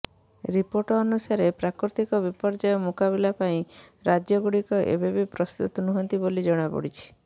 report ଅନୁସାରେ ପ୍ରାକୃତିକ ବିପର୍ଯ୍ୟୟ ମୁକାବିଲା ପାଇଁ ରାଜ୍ୟ ଗୁଡ଼ିକ ଏବେ ବି ପ୍ରସ୍ତୁତ ନୁହଁନ୍ତି ବୋଲି ଜଣାପଡ଼ିଛି